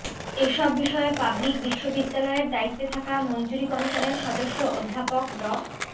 এসব বিষয়ে পাবলিক বিশ্ববিদ্যালয়ের দায়িত্বে থাকা মঞ্জুরি কমিশনের সদস্য অধ্যাপক ড